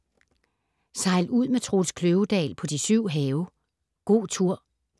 Sejl ud med Troels Kløvedal på de syv have - god tur.